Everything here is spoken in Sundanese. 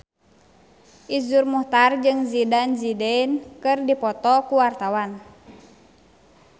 Iszur Muchtar jeung Zidane Zidane keur dipoto ku wartawan